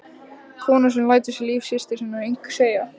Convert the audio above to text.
Konu sem lætur sig líf systur sinnar engu skipta.